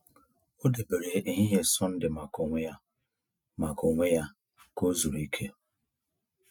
O debere ehihie Sọnde maka onwe ya maka onwe ya ka o zuru ike.